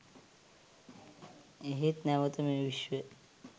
එහෙත් නැවත මේ විශ්වය